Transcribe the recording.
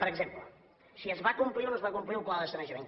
per exemple si es va complir o no es va complir el pla de sanejament